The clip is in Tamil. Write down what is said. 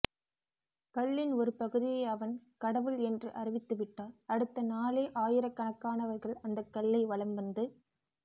கல்லின் ஒரு பகுதியை அவன் கடவுள் என்று அறிவித்துவிட்டால் அடுத்தநாளே ஆயிரக்கணக்கானவர்கள் அந்தக்கல்லை வலம்வந்து